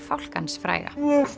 fálkans fræga